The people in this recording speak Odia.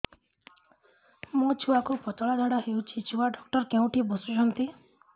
ମୋ ଛୁଆକୁ ପତଳା ଝାଡ଼ା ହେଉଛି ଛୁଆ ଡକ୍ଟର କେଉଁଠି ବସୁଛନ୍ତି